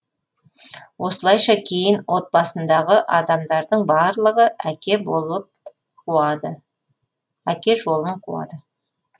осылайша кейін отбасындағы адамдардың барлығы әке жолын қуады